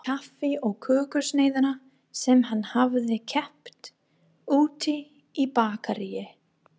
Kaffi og kökusneiðina sem hann hafði keypt úti í bakaríi.